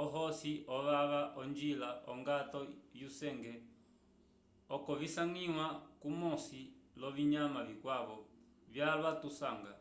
ohosi ovava onjila ongato yusenge oko visangiwa kumosi l'ovinyama vikwavo vyalwa tukasanga